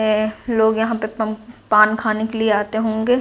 ऐ और लोग यहाँ पे पम पान खाने के लिए आते होंगे।